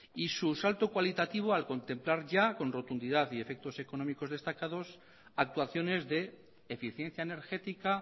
y su salto cualitativo al contemplar ya con rotundidad y efectos económicos destacados actuaciones de eficiencia energética